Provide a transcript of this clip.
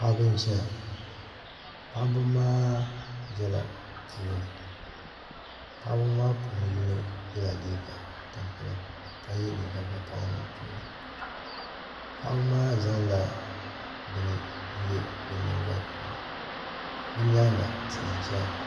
paɣ' ba n ʒɛya paɣ' ba maa ʒɛla puuni paɣ' ba maa puuni yino liga tamipɛlim ka yɛ liga vakahili paɣ' ba maa zan la bɛni yɛ be nyɛni goli puuni be nyɛŋa tihi n ʒɛya